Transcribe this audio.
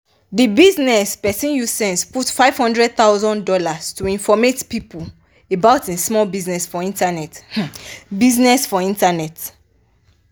di bizness person use sense put fifty thousand dollars0 to informate people about e small bizness for internet. bizness for internet.